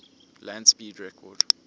land speed record